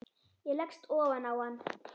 Ég leggst ofan á hann.